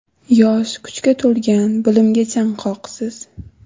Yosh, kuchga to‘lgan, bilimga chanqoqsiz.